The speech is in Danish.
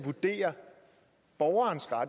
og